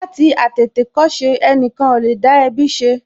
Láti àtìtìkọ́ṣe, ẹnìkan ò lè dá ẹbí ṣe